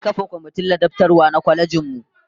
An kafa komitin ladabtarwa na kwalejin mu